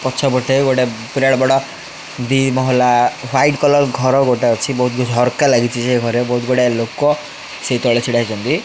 ପଛପଟେ ଗୋଟିଏ ବିରାଟ ବଡ ଦି ମହଲା ହ୍ୱାଇଟ କଲର ଘର ଗୋଟିଏ ଅଛି ବହୁତ କିଛି ଝରକା ଲାଗିଛ ସେଘରେ ବହୁତ ଗୁଡ଼େ ଲୋକ ସେ ତଳେ ଠିଆ ହୋଇଛନ୍ତି।